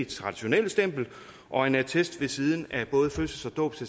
traditionelle stempel og en attest ved siden af både fødsels dåbs